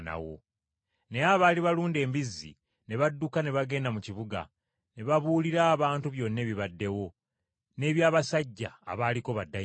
Naye abaali balunda embizzi ne badduka ne bagenda mu kibuga ne babuulira abantu byonna ebibaddewo, n’eby’abasajja abaaliko baddayimooni.